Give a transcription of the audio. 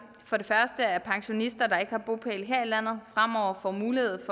for det første at pensionister der ikke har bopæl her i landet fremover får mulighed